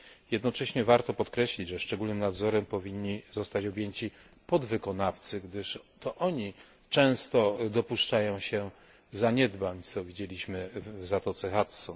Jednocześnie warto podkreślić, że szczególnym nadzorem powinni zostać objęci podwykonawcy, gdyż to oni często dopuszczają się zaniedbań, co widzieliśmy w zatoce Hudson.